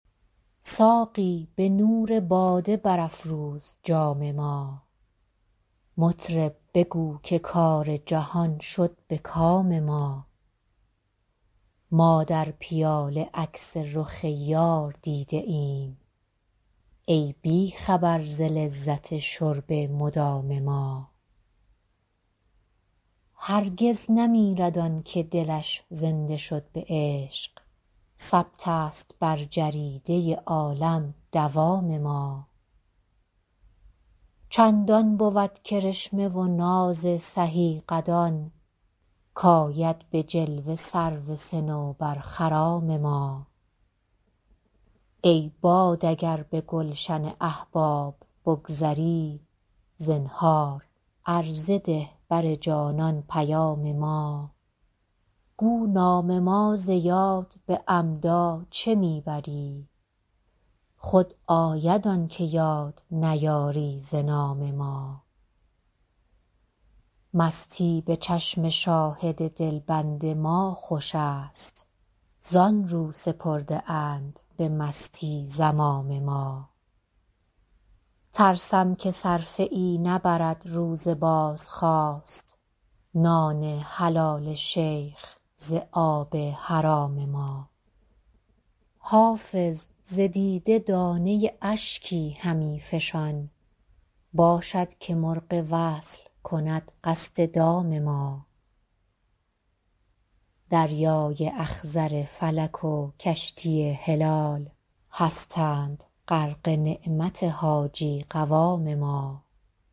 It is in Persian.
ساقی به نور باده برافروز جام ما مطرب بگو که کار جهان شد به کام ما ما در پیاله عکس رخ یار دیده ایم ای بی خبر ز لذت شرب مدام ما هرگز نمیرد آن که دلش زنده شد به عشق ثبت است بر جریده عالم دوام ما چندان بود کرشمه و ناز سهی قدان کآید به جلوه سرو صنوبرخرام ما ای باد اگر به گلشن احباب بگذری زنهار عرضه ده بر جانان پیام ما گو نام ما ز یاد به عمدا چه می بری خود آید آن که یاد نیاری ز نام ما مستی به چشم شاهد دلبند ما خوش است زآن رو سپرده اند به مستی زمام ما ترسم که صرفه ای نبرد روز بازخواست نان حلال شیخ ز آب حرام ما حافظ ز دیده دانه اشکی همی فشان باشد که مرغ وصل کند قصد دام ما دریای اخضر فلک و کشتی هلال هستند غرق نعمت حاجی قوام ما